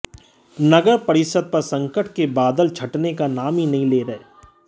नगरपरिषद पर संकट के बादल छंटने का नाम नहीं ले रहे हैं